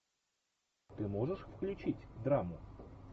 ты можешь включить драму